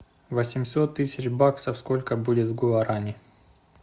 восемьсот тысяч баксов сколько будет в гуарани